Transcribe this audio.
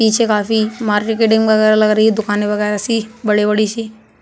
पीछे काफी मार्केटिंग वगैरह लग रही है। दुकाने वगैरह सी बड़ी-बड़ी सी।